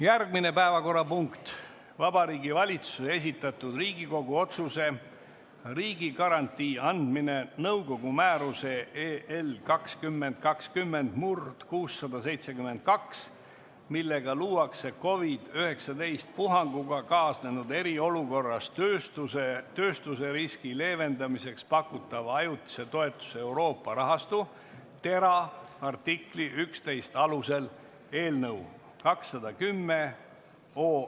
Järgmine päevakorrapunkt on Vabariigi Valitsuse esitatud Riigikogu otsuse "Riigigarantii andmine nõukogu määruse 2020/672, millega luuakse COVID-19 puhanguga kaasnenud eriolukorras töötuseriski leevendamiseks pakutava ajutise toetuse Euroopa rahastu , artikli 11 alusel" eelnõu 210.